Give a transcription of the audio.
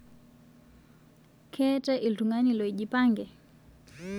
Keatai ltung'ani lojipange